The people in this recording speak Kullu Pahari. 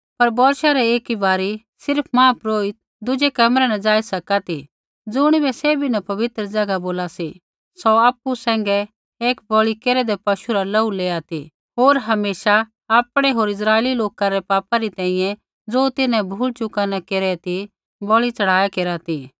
पर बौर्षा रै एक बारी सिर्फ़ महापुरोहित दुज़ै कमरै न ज़ाई सका ती ज़ुणिबै सैभी न पवित्र ज़ैगा बोला सी सौ आपु सैंघै एक बलि केरेदै पशु रा लोहू लेआ ती होर हमेशा आपणै होर इस्राइली लोका रै पापा री तैंईंयैं ज़ो तिन्हैं भूल चूका न केरी ती बलि च़ढ़ाया केरा ती